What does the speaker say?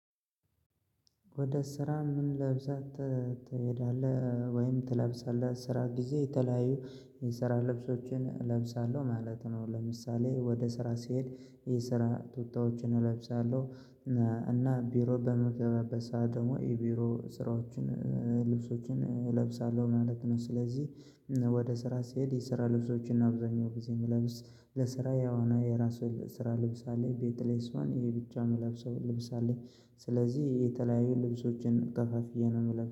ወደ ስራ ምን ለብሰህ ትሄዳለህ ወይም ትለብሳለህ? ስራ ጊዜ የተለያዩ የስራ ልብሶችን እለብሳለሁ ማለት ነው፤። ለምሳሌ ወደ ስራ ሲሄድ የስራ ቱታዎችን እለብሳለሁ። እና ቢሮ በምገባበት ሰዓት ደግሞ የቢሮ ስራዎችን ልብሶችን እለብሳለሁ ማለት ነው። ስለዚህ ወደ ስራ ስሄድ የስራ ልብሶችን ነው አብዛኛው ጊዜ የምለብስ ለስራ የዋና የራሱን ስራ ልብስ አለኝ። ቤት ላይ ስሆን ይሄ ብቻ የምለብሰውን ልብስ አለኝ። ስለዚህ የተለያዩ ልብሶችን ከፋፍዬ ነው የምለብስ